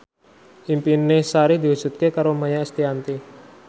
impine Sari diwujudke karo Maia Estianty